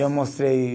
Eu mostrei.